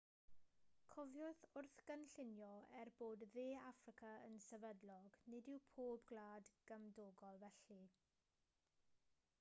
cofiwch wrth gynllunio er bod de affrica yn sefydlog nid yw pob gwlad gymdogol felly